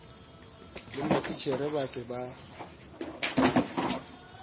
le matitjhere ba se ba